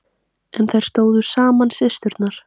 En þær stóðu saman systurnar.